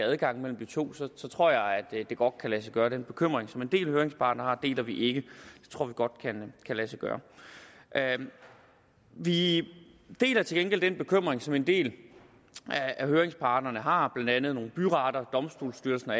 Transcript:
adgang mellem de to så tror jeg at det godt kan lade sig gøre den bekymring som en del af høringsparterne har deler vi ikke vi tror godt det kan lade sig gøre vi deler til gengæld den bekymring som en del af høringsparterne har blandt andet nogle byretter domstolsstyrelsen og